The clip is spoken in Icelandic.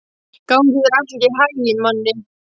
Gangi þér allt í haginn, Manni.